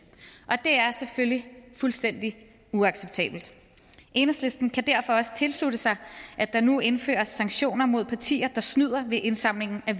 det er selvfølgelig fuldstændig uacceptabelt enhedslisten kan derfor også tilslutte sig at der nu indføres sanktioner mod partier der snyder ved indsamlingen af